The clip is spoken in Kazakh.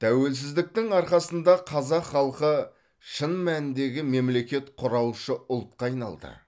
тәуелсіздіктің арқасында қазақ халқы шын мәніндегі мемлекет құраушы ұлтқа айналды